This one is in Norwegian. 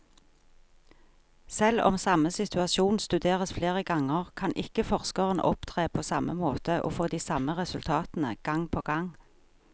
Selv om samme situasjon studeres flere ganger, kan ikke forskeren opptre på samme måte og få de samme resultatene gang på gang.